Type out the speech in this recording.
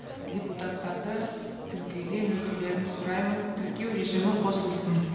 депутаттарды тіркеуден өтулерін сұраймын тіркеу режимі қосылсын